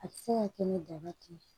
A bɛ se ka kɛ ni daba tɛ yen